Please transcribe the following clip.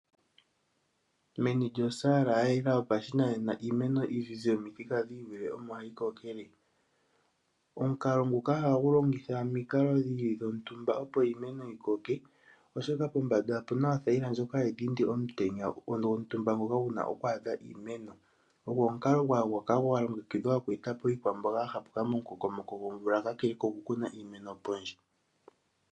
Meni lyosaala ya yela yopashinanena iimeno iizize yomithika dhi ili omo hayi kokele omukalo nguka ohagu longitha omikalo dhontumba opo iimeno yi koke, oshoka pombanda opuna othayila ndjoka hayi dhindi omutenya gwontumba ngoka guna okwaadha iimeno, ogo omukalo ngoka gwa longekidhwa oku etapo iikwamboga momukokomoko gwomvula peha lyoku kuna iimeno pondje.